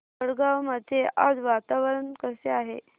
वडगाव मध्ये आज वातावरण कसे आहे